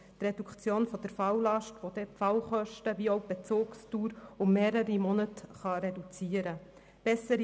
Die Reduktion der Falllast wird sowohl die Fallkosten senken als auch die Bezugsdauer um mehrere Monate reduzieren können.